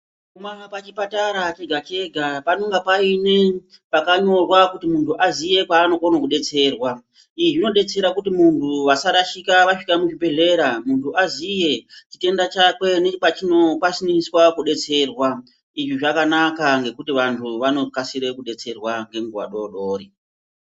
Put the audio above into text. Pachipatara chega chega panonga paine pakanyorwa kuti muntu aziye kwaanokone kudetserwa izvi zvinodetsera kuti munhu asarashika asvika muzvibhehleya muntu aziye chitenda chakwe nepachino kwanise kudetserwa izvi zvakanaka nekuti vantu vanokasire kudetserwa nenguwa dodori.